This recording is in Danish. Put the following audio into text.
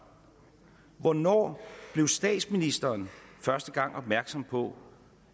hvornår blev statsministeren første gang opmærksom på